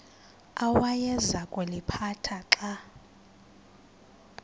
awayeza kuliphatha xa